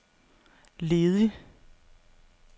ledig